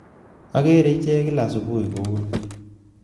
Agere ichek kila subui ko uni